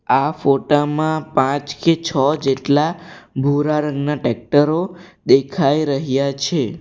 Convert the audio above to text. આ ફોટા માં પાંચ કે છ જેટલા ભૂરા રંગના ટેક્ટરો દેખાઈ રહ્યા છે.